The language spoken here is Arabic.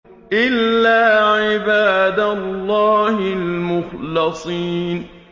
إِلَّا عِبَادَ اللَّهِ الْمُخْلَصِينَ